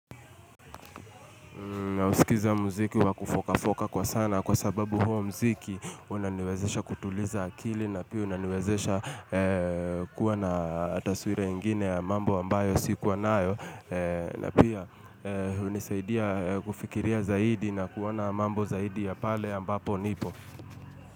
Nausikiza mziki wa kufoka foka kwa sana kwa sababu huo mziki unaniwezesha kutuliza akili na pia unaniwezesha kuwa na taswira ingine ya mambo ambayo sikuwa nayo na pia hunisaidia kufikiria zaidi na kuona mambo zaidi ya pale ambapo nipo.